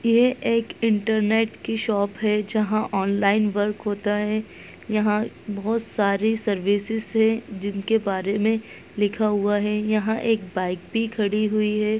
ये एक इंटरनेट की शॉप है जहाँ ऑनलाइन वर्क होता है यहाँ बहुत सारी सर्विसेस हैं जिनके बारे में लिखा हुआ है यहाँ एक बाइक भी खड़ी हुई है।